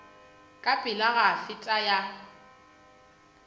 ka pela go feta ya